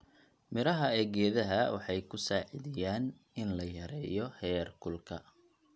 Midhaha ee geedaha waxay kusaidiaan in la yareeyo heerkulka.